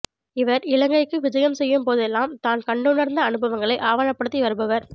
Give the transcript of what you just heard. இவர் இலங்கைக்கு விஜயம் செய்யும்போதெல்லாம் தான் கண்டுணர்ந்த அனுபவங்களை ஆவணப்படுத்தி வருபவர்